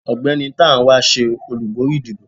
ọgbẹni Tánwa se olubori ìdíbò